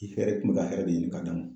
I fɛrɛ kun bɛ ka hɛrɛ de ɲini ka d'a ma